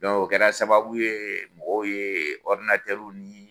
Dɔnku o kɛra sababu ye, mɔgɔw ye ɔridinatɛriw ni